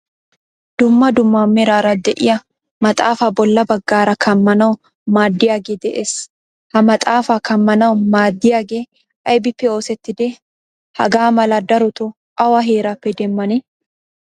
Dumma dumma meraara de'iyaa maxaafa bolla baggaara kamanawu maadiyaagee de'ees. Ha maxaafaa kamanawu maadiyagee aybippe oosettide? Hagaa mala darotto awa heerappe demane?